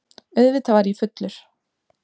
Auðvitað var ég fullur.